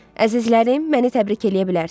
Əzizlərim, məni təbrik eləyə bilərsiniz.